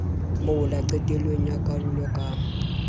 mola qetellong ya karolo ka